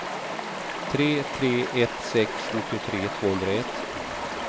tre tre ett sex nittiotre tvåhundraett